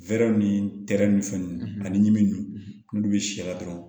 Wɛrɛw ni tɛrɛ ni fɛn nunnu ani min bɛ sɛ la dɔrɔn